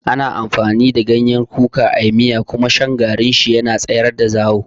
Ana amfani da ganyen kuka a yi miya kuma shan garin shi da ruwa yana tsayar da zawo.